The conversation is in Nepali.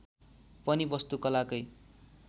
पनि वस्तु कला कै